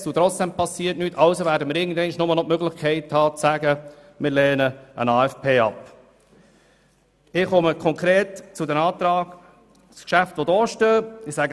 Somit werden wir am Ende nur noch die Möglichkeit haben, einen AFP abzulehnen.